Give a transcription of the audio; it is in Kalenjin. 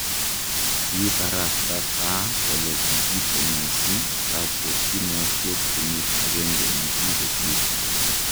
Kibarasta Farc kole kikitonosi kabwokinosiek kenyit ageng'e negikosirto.